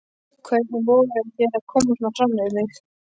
Hvernig vogarðu þér að koma svona fram við mig!